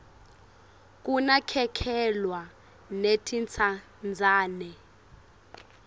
kunakekelwa netintsandzane